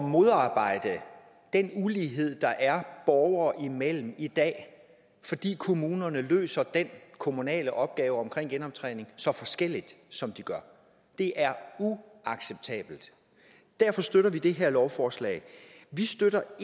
modarbejde den ulighed der er borgere imellem i dag fordi kommunerne løser den kommunale opgave om genoptræning så forskelligt som de gør det er uacceptabelt derfor støtter vi det her lovforslag vi støtter